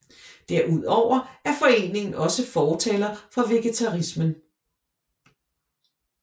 Derudover er foreningen også fortaler for vegetarismen